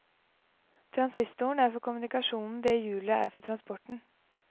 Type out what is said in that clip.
Transistoren er for kommunikasjonen det hjulet er for transporten.